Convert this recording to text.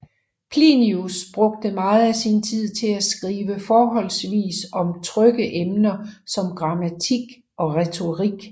Plinius brugte meget af sin tid til at skrive forholdsvis om trygge emner som grammatik og retorik